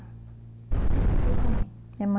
E a sua mãe? Minha mãe